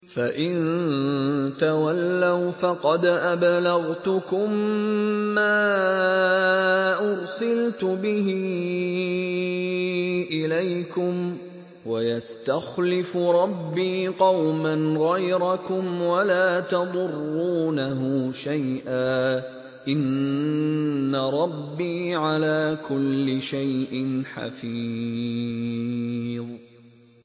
فَإِن تَوَلَّوْا فَقَدْ أَبْلَغْتُكُم مَّا أُرْسِلْتُ بِهِ إِلَيْكُمْ ۚ وَيَسْتَخْلِفُ رَبِّي قَوْمًا غَيْرَكُمْ وَلَا تَضُرُّونَهُ شَيْئًا ۚ إِنَّ رَبِّي عَلَىٰ كُلِّ شَيْءٍ حَفِيظٌ